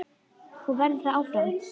Og verður það áfram.